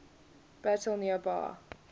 battle near bar